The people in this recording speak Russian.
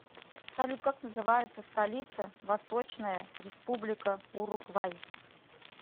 салют как называется столица восточная республика уругвай